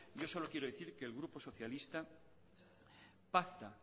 yo solo quiero decir que el grupo socialista pacta